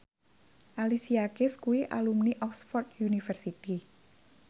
Alicia Keys kuwi alumni Oxford university